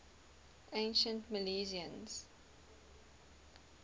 ancient milesians